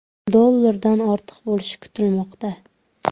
dollardan ortiq bo‘lishi kutilmoqda.